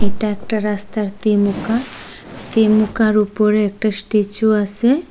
এটা একটা রাস্তার তিমুখা তিমুখার ওপরে একটা স্ট্যাচু আসে ।